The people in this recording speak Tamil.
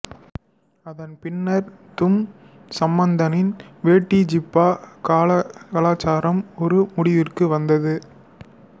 அதன் பின்னர் துன் சம்பந்தனின் வேட்டி ஜிப்பா கலாசாரம் ஒரு முடிவிற்கு வந்தது